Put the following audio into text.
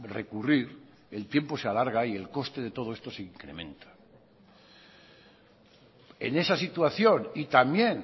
recurrir el tiempo se alarga y el coste de todo esto se incrementa en esa situación y también